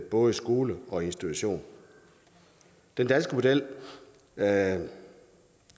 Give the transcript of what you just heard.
både skole og institution den danske model der er